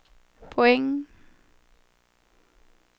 poäng